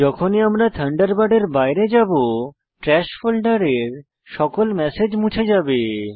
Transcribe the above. যখনই আমরা থান্ডারবার্ডের বাইরে যাবো ট্র্যাশ ফোল্ডারের সকল ম্যাসেজ মুছে যাবে